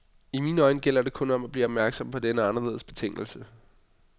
I mine øjne gælder det om at blive opmærksom på denne anderledes betingelse.